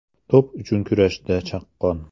To‘p uchun kurashda chaqqon.